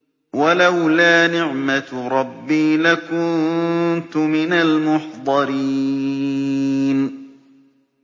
وَلَوْلَا نِعْمَةُ رَبِّي لَكُنتُ مِنَ الْمُحْضَرِينَ